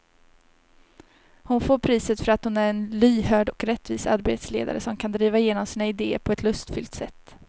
Hon får priset för att hon är en lyhörd och rättvis arbetsledare som kan driva igenom sina idéer på ett lustfyllt sätt.